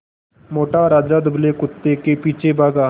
मोटा राजा दुबले कुत्ते के पीछे भागा